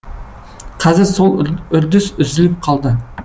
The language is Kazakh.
қазір сол үрдіс үзіліп қалды